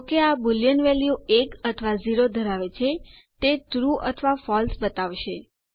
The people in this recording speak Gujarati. જો કે આ બુલિયન વેલ્યુ ૧ અથવા ૦ ધરાવે છે તે ટ્રૂ અથવા ફળસે બતાવશે